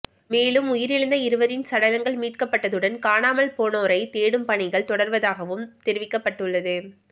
மேலும் உயிரிழந்த இருவரின் சடலங்கள் மீட்கப்பட்டதுடன் காணாமல் போனோரை தேடும் பணிகள் தொடர்வதாகவும் தெரிவிக்கப்பட்டுள்ளது